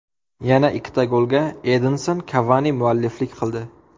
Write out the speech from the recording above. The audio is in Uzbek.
Yana ikkita golga Edinson Kavani mualliflik qildi.